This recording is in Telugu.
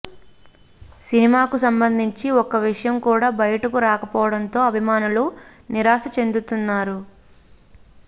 సినిమాకు సంబంధించిన ఒక్క విషయం కూడా బయటకు రాకపోవడంతో అభిమానులు నిరాశ చెందుతున్నారు